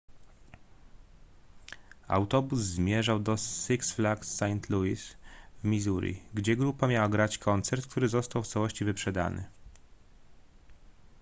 autobus zmierzał do six flags st louis w missouri gdzie grupa miała grać koncert który został w całości wyprzedany